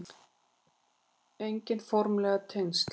Engin formleg tengsl